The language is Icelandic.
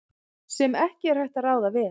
sem ekki er hægt að ráða við.